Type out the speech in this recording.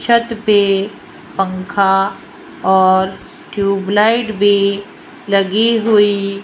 छत पे पंखा और ट्यूबलाइट भी लगी हुई --